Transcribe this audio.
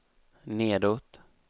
nedåt